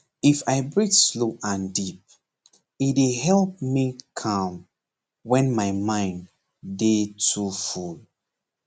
if i breathe slow and deep e dey help me calm when my mind dey too full